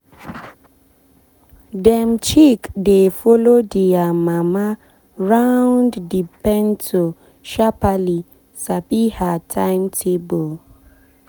dem chick dey follow dia mama round the pento sharpaly sabi her timetable.